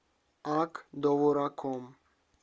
ак довураком